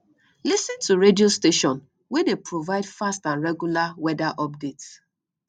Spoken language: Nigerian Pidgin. lis ten to radio station wey dey provide fast and regular weather update